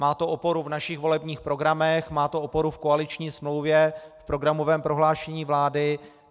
Má to oporu v našich volebních programech, má to oporu v koaliční smlouvě, v programovém prohlášení vlády.